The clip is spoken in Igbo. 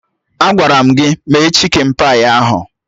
Agwara m gị mee chikin pai ahụ!